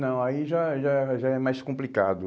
Não, aí já é já é já é mais complicado.